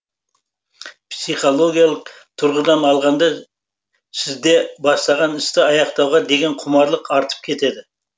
психологиялық тұрғыдан алғанда сізде бастаған істі аяқтауға деген құмарлық артып кетеді